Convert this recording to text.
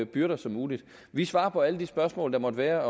byrder som muligt vi svarer på alle de spørgsmål der måtte være